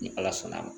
Ni ala sɔnna a ma